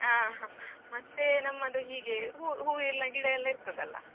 ಆ ಹಾ ಮತ್ತೆ ನಮ್ಮದು ಹೀಗೆ ಹೂ ಎಲ್ಲ ಗಿಡ ಎಲ್ಲ ಇರ್ತದಲ್ಲ.